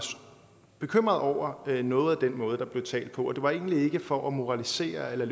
bekymret over noget i den måde der blev talt på og det var egentlig ikke for at moralisere eller